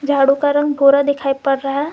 झाड़ू का रंग गोरा दिखाई पड़ रहा है।